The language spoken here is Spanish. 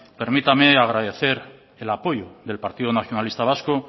permítame agradecer el apoyo del partido nacionalista vasco